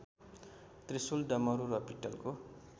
त्रिशुल डमरू र पित्तलको